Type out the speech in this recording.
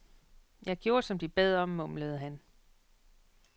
Jeg gjorde, som de bad om, mumlede han.